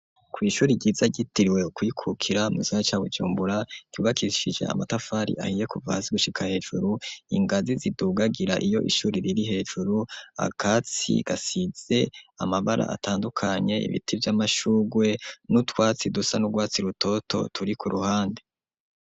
Kw'ishuri ryiza ryitiriwe Ukwikukira mu gisagara ca Bujumbura, ryubakishije amatafari ahiye kuva hasi gushika hejuru, ingazi zidugagira iyo ishuri riri hejuru, akatsi gasize amabara atandukanye, ibiti vy'amashugwe, n'utwatsi dusa n'urwatsi rutoto turi ku ruhande.